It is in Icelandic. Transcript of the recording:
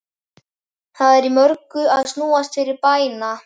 Það er í mörgu að snúast fyrir bæna